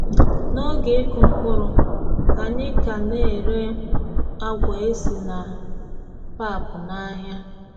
N’oge ịkụ mkpụrụ, anyị ka na-ere agwa esi na pap n’ahịa.